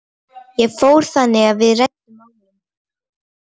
Ég fór þangað og við ræddum málin.